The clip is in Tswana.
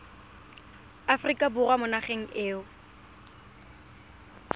aforika borwa mo nageng eo